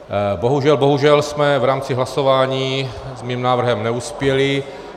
Bohužel jsme v rámci hlasování s mým návrhem neuspěli.